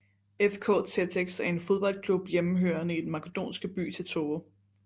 FK Teteks er en fodboldklub hjemmehørende i den makedonske by Tetovo